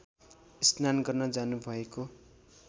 स्नान गर्न जानुभएको